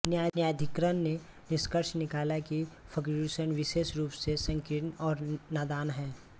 न्यायाधिकरण ने निष्कर्ष निकाला कि फर्ग्यूसन विशेष रूप से संकीर्ण और नादान हैं